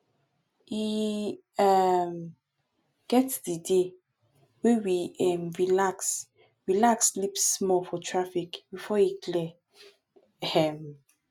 e um get di day wey we um relax relax sleep small for traffic before e clear um